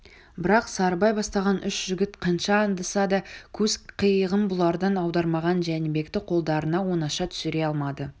бірақ сарыбай бастаған үш жігіт қанша аңдыса да көз қиығын бұлардан аудармаған жәнібекті қолдарына оңаша түсіре алмады